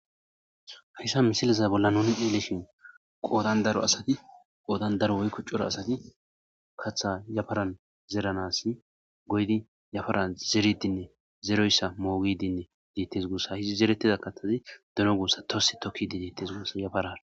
hayssa misiliza bolla nuni hieleshin qoodan daro asati qoodan daro woykuccura asati katha yafaran zeeranas goydi yafara zeridinne zeroyssa moogidinne deettes guussa hidi zeretida kathazi duno guussa tose tokkidi deettes gussa yafarara